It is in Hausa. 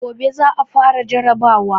Gobe za a fara jarrabawa.